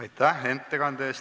Aitäh ettekande eest!